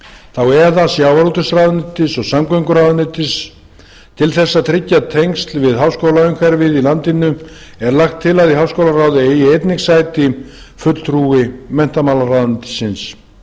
þá eða sjávarútvegsráðuneytis og samgönguráðuneytis til þess að tryggja tengsl við háskólaumhverfið í landinu er lagt til að í háskólaráði eigi einnig sæti fulltrúi menntamálaráðuneytisins